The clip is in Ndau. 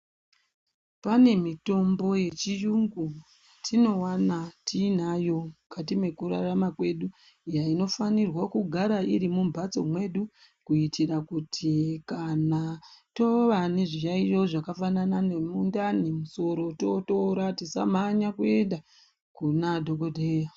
Pane mitombo yechiyungu yetinovana tinayo mukati mekurarama kwedu. Inofanirwa kugara iri mumbatso mwedu, kuitira kuti kana tova nezviyaiyo zvakafanana nemundani nemusoro totora tisamhanya kuenda kuna dhogodheya.